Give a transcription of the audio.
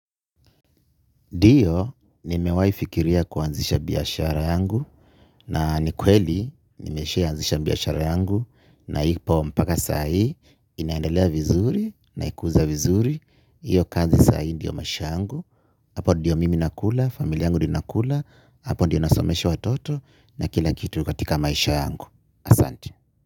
Ndiyo, nimewahifikiria kuanzisha biashara yangu na nikweli, nimesha ianzisha biashara yangu na ipo mpaka saa hii, inaendelea vizuri, naikuza vizuri, hiyo kazi saa hii ndiyo maisha yangu, hapo ndiyo mimi nakula, familia yangu ndiyo inakula, hapo ndiyo nasomesha watoto na kila kitu katika maisha yangu. Asante.